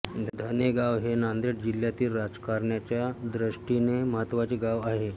धनेगाव हे नांदेड जिल्हातील राजकारण्याच्या द्रष्टीने महत्त्वाचे गाव आहे